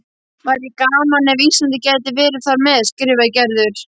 Væri gaman ef Ísland gæti verið þar með, skrifar Gerður.